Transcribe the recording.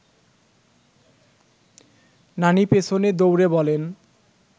নানি পেছনে দৌড়ে বলেন